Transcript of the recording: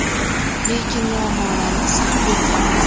Lekin muammolarimiz ham yo‘q emas.